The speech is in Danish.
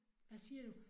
Hvad siger du?